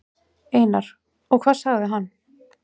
Einar: Og hvað segir hann?